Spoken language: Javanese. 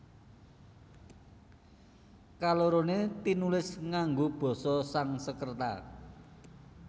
Kaloroné tinulis ngango Basa Sangskreta